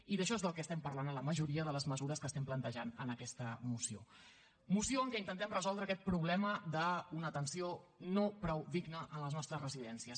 i d’això és del que estem parlant a la majoria de les mesures que estem plantejant en aquesta moció moció en què intentem resoldre aquest problema d’una atenció no prou digna en les nostres residències